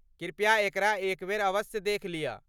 कृपया एकरा एकबेरअवश्य देख लिअ।